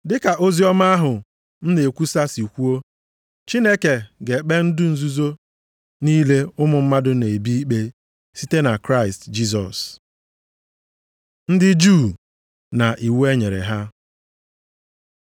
Dịka oziọma ahụ m na-ekwusa si kwuo, Chineke ga-ekpe ndụ nzuzo niile ụmụ mmadụ na-ebi ikpe, site na Kraịst Jisọs. Ndị Juu na iwu e nyere ha